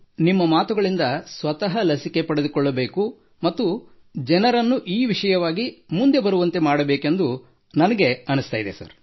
ನಿಮ್ಮ ಮಾತುಗಳಿಂದ ಸ್ವತಃ ಲಸಿಕೆ ಪಡೆದುಕೊಳ್ಳಬೇಕೆಂದು ಮತ್ತು ಜನರನ್ನು ಈ ವಿಷಯವಾಗಿ ಮುಂದೆ ಬರುವಂತೆ ಮಾಡಬೇಕೆಂದು ಅನಿಸುತ್ತಿದೆ ಸರ್